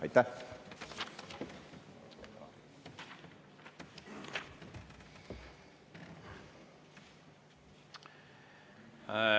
Aitäh!